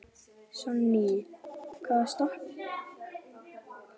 Bogga, hvar er dótið mitt?